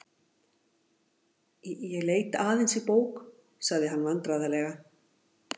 Ég leit aðeins í bók.- sagði hann vandræðalega.